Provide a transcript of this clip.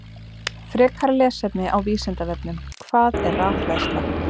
Frekara lesefni á Vísindavefnum: Hvað er rafhleðsla?